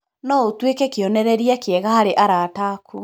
No ũtuĩke kĩonereria kĩega harĩ arata aku.